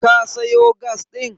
Ka sayo gas ɗin?